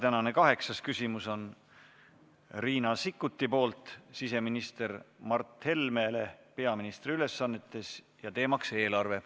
Tänane kaheksas küsimus on Riina Sikkuti küsimus siseminister Mart Helmele peaministri ülesannetes, teemaks on eelarve.